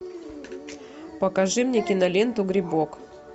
покажи мне киноленту грибок